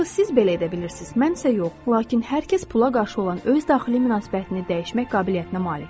Axı siz belə edə bilirsiz, mən isə yox, lakin hər kəs pula qarşı olan öz daxili münasibətini dəyişmək qabiliyyətinə malikdir.